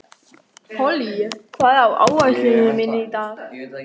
Polly, hvað er á áætluninni minni í dag?